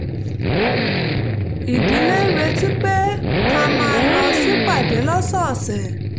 ìdílé ń retí pé ká máa lọ sípàdé lọ́sọ̀ọ̀sẹ̀